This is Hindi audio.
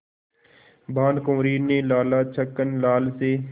भानकुँवरि ने लाला छक्कन लाल से